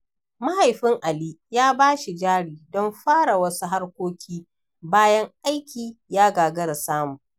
Mahaifin Ali ya bashi jari don fara wasu harkoki, bayan aiki ya gagara samu.